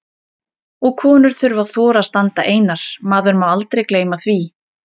Og konur þurfa að þora að standa einar, maður má aldrei gleyma því!